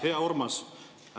Hea Urmas!